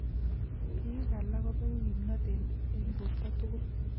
Biik alak kobegu kimnotet en borto tugul